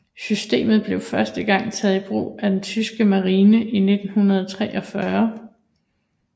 Systemet blev første gang taget i brug af den tyske marine i 1943